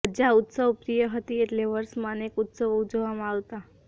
પ્રજા ઉત્સવપ્રિય હતી એટલે વર્ષમાં અનેક ઉત્સવો ઉજવવામાં આવતા